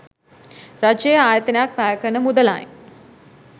රජයේ ආයතනයක් වැයකරන මුදලයි